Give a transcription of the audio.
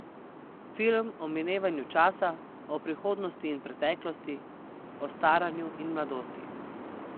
Film o minevanju časa, o prihodnosti in preteklosti, o staranju in mladosti.